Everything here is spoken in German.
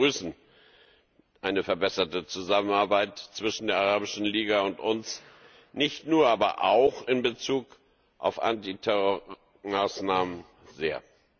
Wir begrüßen eine verbesserte Zusammenarbeit zwischen der Arabischen Liga und uns, nicht nur, aber auch in Bezug auf Antiterrormaßnahmen sehr.